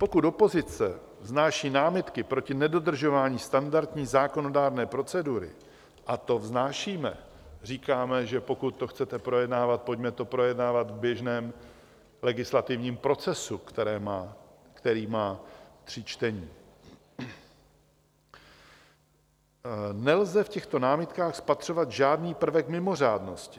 Pokud opozice vznáší námitky proti nedodržování standardní zákonodárné procedury - a to vznášíme, říkáme, že pokud to chcete projednávat, pojďme to projednávat v běžném legislativním procesu, který má tři čtení -, nelze v těchto námitkách spatřovat žádný prvek mimořádnosti.